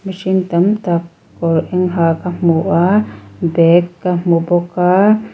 mihring tam tak kawr eng ha ka hmu a bag ka hmu bawk a--